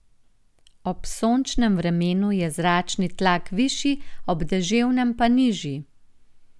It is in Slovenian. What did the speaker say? Ob sončnem vremenu je zračni tlak višji, ob deževnem pa nižji.